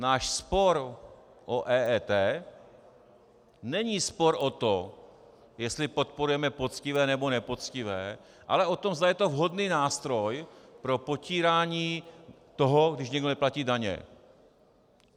Náš spor o EET není spor o tom, jestli podporujeme poctivé, nebo nepoctivé, ale o tom, zda je to vhodný nástroj pro potírání toho, když někdo neplatí daně.